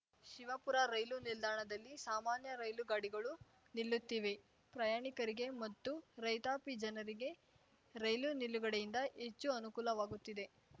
Shivapura rail ನಿಲ್ದಾಣದಲ್ಲಿ ಸಾಮಾನ್ಯ ರೈಲುಗಾಡಿಗಳು ನಿಲ್ಲುತ್ತಿವೆ ಪ್ರಯಾಣಿಕರಿಗೆ ಮತ್ತು ರೈತಾಪಿ ಜನರಿಗೆ ರೈಲು ನಿಲುಗಡೆಯಿಂದ ಹೆಚ್ಚು ಅನುಕೂಲವಾಗುತ್ತಿದೆ